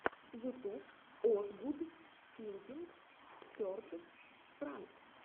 ютуб озгуд филдинг серд пранк